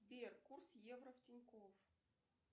сбер курс евро в тинькофф